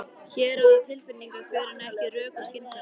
Hér ráða tilfinningarnar för en ekki rök og skynsemi.